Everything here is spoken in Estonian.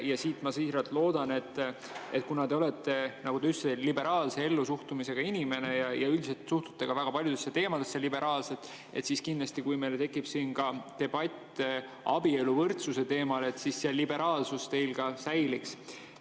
Ma siiralt loodan, et kuna te olete, nagu te ütlesite, liberaalse ellusuhtumisega inimene ja üldiselt suhtute ka väga paljudesse teemadesse liberaalselt, siis kindlasti, kui meil tekib siin debatt abieluvõrdsuse teemal, see liberaalsus teil säiliks.